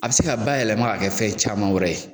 A bi se ka bayɛlɛma ka kɛ fɛn caman wɛrɛ ye